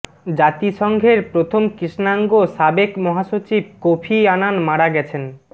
জাতিসংঘের প্রথম কৃষ্ণাঙ্গ সাবেক মহাসচিব কোফি আনান মারা গেছেন